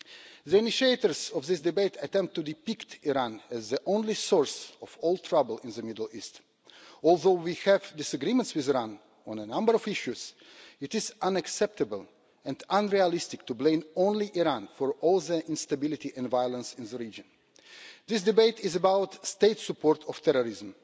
The initiators of this debate attempt to depict Iran as the only source of all trouble in the Middle East. Although we have disagreements with Iran on a number of issues, it is unacceptable and unrealistic to blame only Iran for all the instability and violence in the region. This debate is about State support of terrorism.